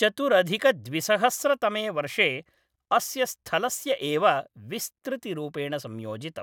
चतुरधिकद्विसहस्रतमे वर्षे अस्य स्थलस्य एव विस्तृतिरूपेण संयोजितम्।